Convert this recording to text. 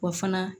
Wa fana